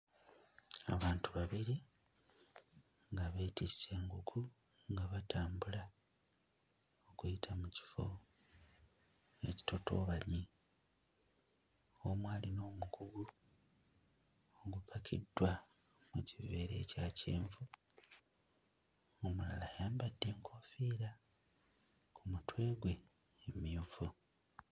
Abantu babiri nga beetisse enku nga batambula kuyita mu kifo ekitotoobanye omu alina omugugu ogupakiddwa mu kiveera ekya kyenvu omulala ayambadde enkoofiira ku mutwe gwe emmyufu.